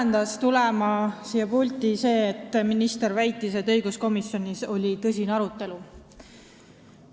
Mind ajendas siia pulti tulema ministri väide, nagu õiguskomisjonis oleks olnud tõsine arutelu.